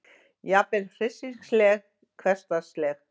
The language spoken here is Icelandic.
Jafnvel hryssingsleg, hversdagsleg.